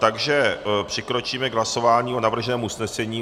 Takže přikročíme k hlasování o navrženém usnesení.